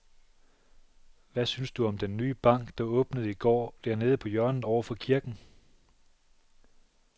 Hvad synes du om den nye bank, der åbnede i går dernede på hjørnet over for kirken?